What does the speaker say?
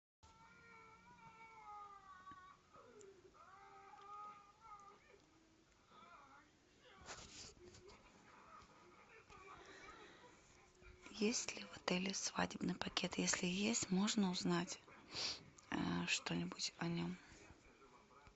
есть ли в отеле свадебный пакет если есть можно узнать что нибудь о нем